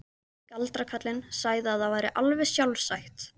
Galdrakarlinn sagði að það væri alveg sjálfsagt.